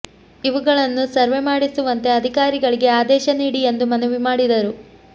ಇವುಗಳನ್ನು ಸರ್ವೆ ಮಾಡಿಸುವಂತೆ ಅಧಿಕಾರಿಗಳಿಗೆ ಆದೇಶ ನೀಡಿ ಎಂದು ಮನವಿ ಮಾಡಿದರು